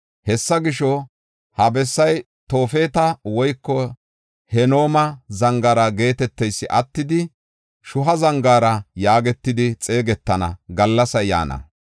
Hessa gisho, ha bessay Toofeta woyko Hinooma Zangaara geeteteysi attidi, Shuha Zangaara yaagetidi xeegetana gallasay yaana.